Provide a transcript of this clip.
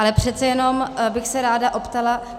Ale přece jenom bych se ráda optala.